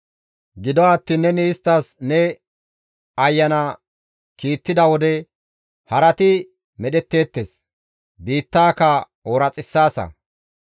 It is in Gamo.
Gido attiin neni isttas ne ayana kiittida wode harati medhetteettes; biittaaka ooraxissaasa.